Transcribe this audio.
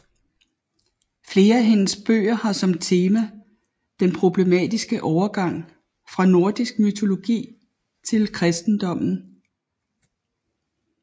Flere af hendes bøger har som tema den problematiske overgang fra nordisk mytologi til kristendommen